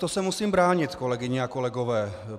To se musím bránit, kolegyně a kolegové.